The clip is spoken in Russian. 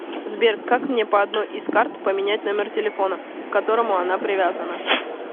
сбер как мне по одной из карт поменять номер телефона к которому она привязана